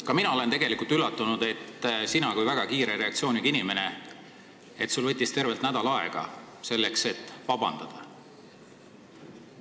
Ka mina olen tegelikult üllatunud, et sinul kui väga kiire reaktsiooniga inimesel võttis tervelt nädal aega, et vabandust paluda.